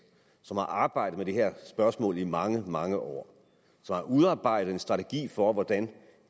som har arbejdet med det her spørgsmål i mange mange år som har udarbejdet en strategi for hvordan